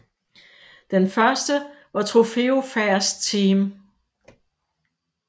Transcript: Den første var Trofeo Fast Team